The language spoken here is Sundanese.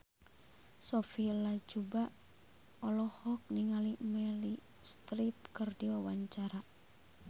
Sophia Latjuba olohok ningali Meryl Streep keur diwawancara